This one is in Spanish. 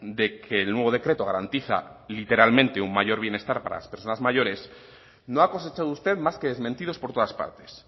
de que el nuevo decreto garantiza literalmente un mayor bienestar para las personas mayores no ha cosechado usted más que desmentidos por todas partes